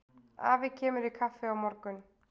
Afi kemur í kaffi á morgun.